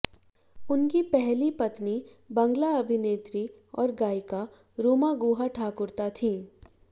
उनकी पहली पत्नी बांग्ला अभिनेत्री और गायिका रूमा गुहा ठाकुरता थीं